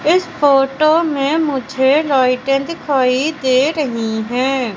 इस फोटो में मुझे लाइटे दिखाई दे रही है।